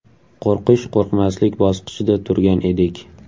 Qo‘rqish-qo‘rqmaslik bosqichida turgan edik.